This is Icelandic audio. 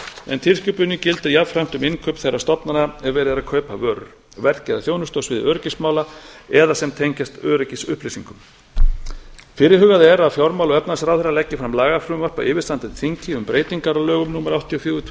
en tilskipunin gildir jafnframt um innkaup þeirra stofnana er verið er að kaupa vörur verk eða þjónustu á sviði öryggismála eða sem tengjast öryggisupplýsingum fyrirhugað er að fjármála og efnahagsráðherra leggi fram lagafrumvarp á yfirstandandi þingi um breytingar á lögum númer áttatíu og fjögur tvö